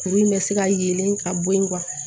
Kuru in bɛ se ka yelen ka bɔ yen